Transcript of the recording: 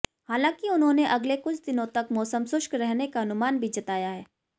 हालांकि उन्होंने अगले कुछ दिनों तक मौसम शुष्क रहने का अनुमान भी जताया है